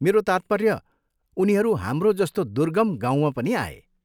मेरो तात्पर्य, उनीहरू हाम्रो जस्तो दुर्गम गाउँमा पनि आए।